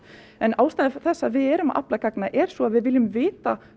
en ástæða þess að við erum að afla gagna er sú að við viljum vita